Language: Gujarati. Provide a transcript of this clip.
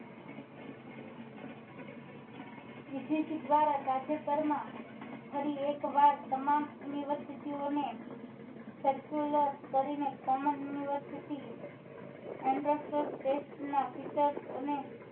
UGC દ્વારા તાજેતર માં ફરી કે વાર તમામ university ઓ ને circular કરી ને common ના અને